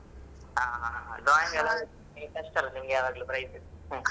ಹಾ ಹಾ ಹಾ drawing ಎಲ್ಲ ನೀವು first ಅಲ್ಲ ನಿಮ್ಗೆ ಯಾವಾಗ್ಲೂ prize ಹ್ಮ್.